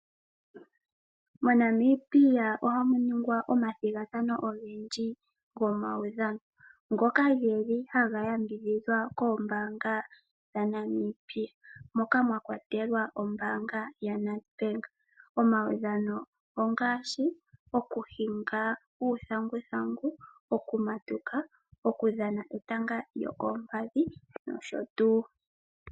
Mo Namibia ohamu ningwa oma thigathano ogendji go maudhano, ngoka geli haya yambidhidhwa koombaanga dha Namibia moka mwatulwa ombaanga ya Nedbank. Omaudhano ongaashi oku hinga uuthanguthangu, oku matuka , oku thanga etanga lyo koompadhi nosho tuu.